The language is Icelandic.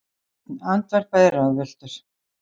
Sveinn andvarpaði ráðvilltur.